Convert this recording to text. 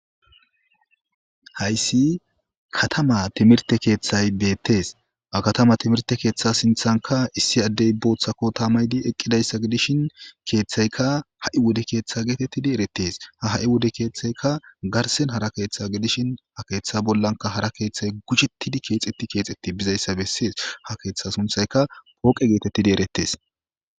Hayssi katama timirte keeththay beettes a katama timirte keeththa sinthanka issi addey booththako taamaydi eqqidayssa gidishin keeththaykka ha'i wode keeththa geetettidi eretes ha ha'i wode keeththaykka garsen hara keeththa gidishin ha keeththa bollanka hara keeththay gujettidi keexetti keexetti bizayssa bessees ha keeththa sunthayka pooqe geetettidi eretes.